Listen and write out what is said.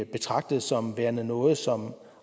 betragtet som værende noget som